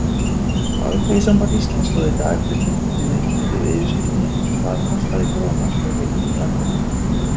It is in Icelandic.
Alþýðusamband Íslands stóð í dag fyrir fundi undir yfirskriftinni Hvað kostar krónan heimilin í landinu?